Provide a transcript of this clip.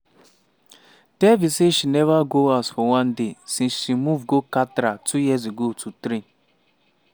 devi say she neva go house for one day since she move go katra two years ago to train.